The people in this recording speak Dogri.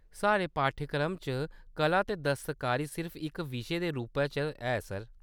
साढ़े पाठ्यक्रम च कला ते दस्तकारी सिर्फ इक विशे दे रूपै च ऐ, सर।